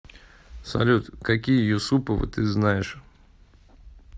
салют какие юсуповы ты знаешь